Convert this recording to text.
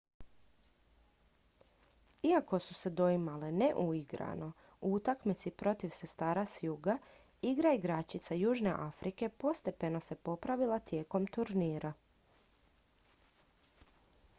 iako su se doimale neuigrano u utakmici protiv sestara s juga igra igračica južne afrike postepeno se popravila tijekom turnira